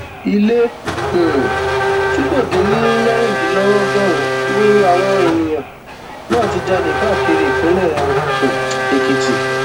ilé um tí kò dín ní mẹrìndínlọgọrùnún ni àwọn èèyàn náà ti jalè káàkiri ìpínlẹ um èkìtì